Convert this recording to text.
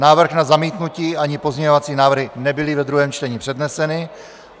Návrh na zamítnutí ani pozměňovací návrhy nebyly ve druhém čtení předneseny.